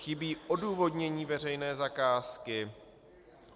Chybí odůvodnění veřejné zakázky.